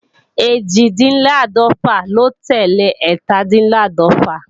Ẹ́jìndínláàdọ́fà ló tẹ́lẹ̀ ẹ́tàdínláàdọ̀fà